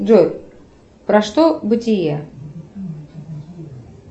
джой про что бытие